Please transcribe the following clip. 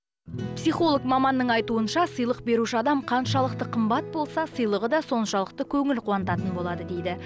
психолог маманның айтуынша сыйлық беруші адам қаншалықты қымбат болса сыйлығы да соншалықты көңіл қуантатын болады дейді